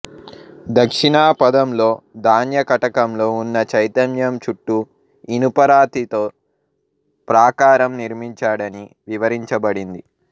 దక్షిణాపధంలో ధాన్యకటకంలో ఉన్న చైత్యం చుట్టూ ఇనుపరాతితో ప్రాకారం నిర్మించాడని వివరించబడింది